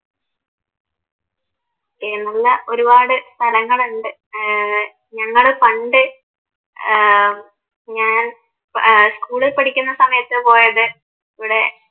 നല്ല ഒരുപാട് സ്ഥലങ്ങളുണ്ട് ഏർ ഞങ്ങള് പണ്ട് ഏർ ഞാൻ ഏർ സ്കൂളിൽ പഠിക്കുന്ന സമയത്ത് പോയത് ഈടെ